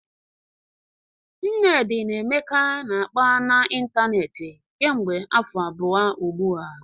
Nnedi na Emeka na-akpa n'ịntanetị kemgbe afọ abụọ ugbu a